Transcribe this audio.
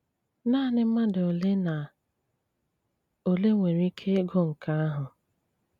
Náaní mmádụ́ ólé ná ólé nwéré íké ígụ nké áhụ.